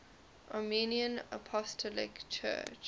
armenian apostolic church